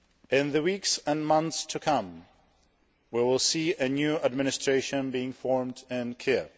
In the weeks and months to come, we will see a new administration being formed in Kiev.